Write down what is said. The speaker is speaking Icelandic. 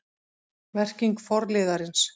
Merking forliðarins